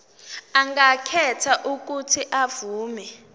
angakhetha uuthi avume